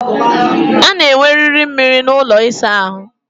A na enweriri mmiri n'ụlọ ịsa ahụ